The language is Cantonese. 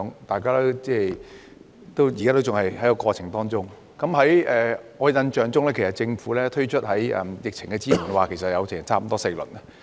大家現時仍然身處過程之中，而在我的印象中，政府推出了4輪疫情支援措施。